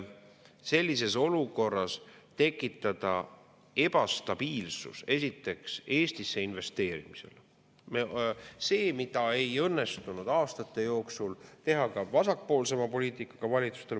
Sellises olukorras tekitada ebastabiilsus Eestisse investeerimisel – see ei õnnestunud aastate jooksul ka vasakpoolsema poliitikaga valitsustel.